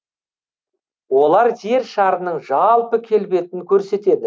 олар жер шарының жалпы келбетін көрсетеді